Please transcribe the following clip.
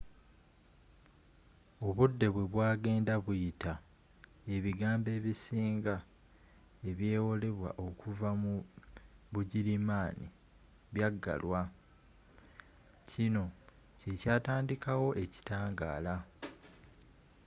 obudde bwebwagenda buyita ebigambo ebisinga ebyewolebwa okuva mu bugirimaana byaggalwa kino kyekyatandikawo ekitangaala